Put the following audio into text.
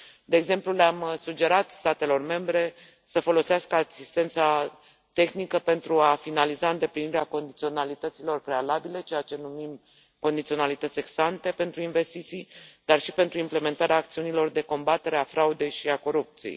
De exemplu le am sugerat statelor membre să folosească asistența tehnică pentru a finaliza îndeplinirea condiționalităților prealabile ceea ce numim condiționalități ex ante pentru investiții, dar și pentru implementarea acțiunilor de combatere a fraudei și a corupției.